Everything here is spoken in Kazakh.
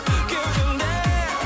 кеудемде